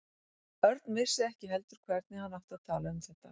Örn vissi ekki heldur hvernig hann átti að tala um þetta.